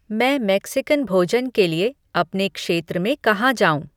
मैं मेक्सिकन भोजन के लिए अपने क्षेत्र में कहाँ जाऊँ